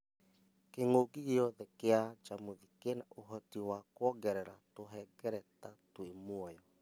Kĩng'uki gĩothe kia njamuthi kĩna ũhoti wa kũongerera tũhengereta twĩ mũoyo